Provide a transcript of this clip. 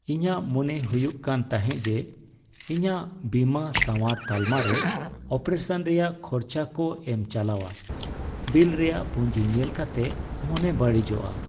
ᱤᱧᱟᱹᱜ ᱢᱚᱱᱮ ᱦᱩᱭᱩᱜ ᱠᱟᱱ ᱛᱟᱦᱮᱸ ᱡᱮ, ᱤᱧᱟᱹᱜ ᱵᱤᱢᱟᱹ ᱥᱟᱶᱟᱨ ᱛᱟᱞᱢᱟ ᱨᱮ ᱚᱯᱟᱨᱮᱥᱚᱱ ᱨᱮᱭᱟᱜ ᱠᱷᱚᱨᱪᱟ ᱠᱚ ᱮᱢ ᱪᱟᱞᱟᱣᱟ ᱾ ᱵᱤᱞ ᱨᱮᱭᱟᱜ ᱯᱩᱸᱡᱤ ᱧᱮᱞ ᱠᱟᱛᱮ ᱢᱚᱱᱮ ᱵᱟᱹᱲᱤᱡᱚᱜᱼᱟ ᱾